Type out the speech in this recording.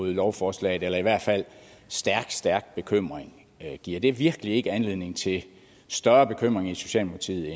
lovforslaget eller i hvert fald stærk stærk bekymring giver det virkelig ikke anledning til større bekymring i socialdemokratiet